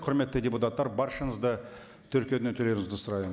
құрметті депутаттар баршаңызды тіркеуден өтулеріңізді сұраймын